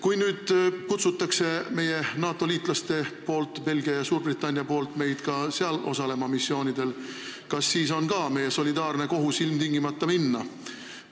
Kui Suurbritannia või teised NATO-liitlased kutsuvad meid osalema sealsetel missioonidel, kas meil on siis solidaarne kohus ilmtingimata minna?